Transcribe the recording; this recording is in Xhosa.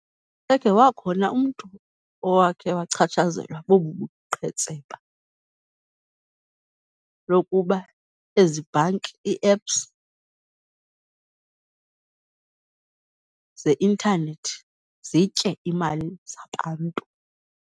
Ebekhe wakhona umntu owakhe wachatshazelwa bobu buqhetseba bokuba ezi bhanki, ii-apps zeintanethi zitye iimali zabantu.